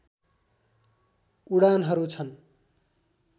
उडानहरू छन्